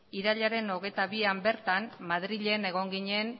irailaren hogeita bian bertan madrilen egon ginen